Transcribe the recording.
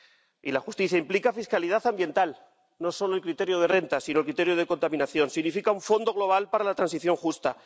Y la justicia implica fiscalidad ambiental, no solo el criterio de renta, sino el criterio de contaminación. Significa un fondo global para la transición justa.